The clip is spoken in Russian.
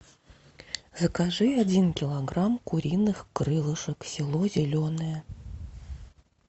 закажи один килограмм куриных крылышек село зеленое